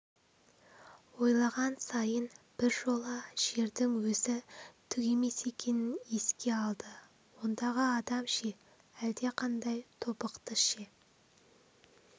ойлаған сайын біржола жердің өзі түк емес екенін еске алды ондағы адам ше әлдеқандай тобықты ше